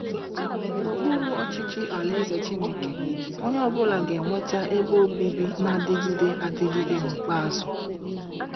N’okpuru ọchịchị Alaeze Chineke, onye ọ bụla ga-enweta ebe obibi na-adịgide adịgide n’ikpeazụ!